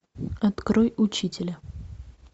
открой учителя